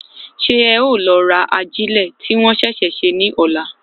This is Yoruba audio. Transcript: Ṣé ẹ o lọ ra ajilẹ ti wọn ṣẹṣẹ ṣe ní ọlá?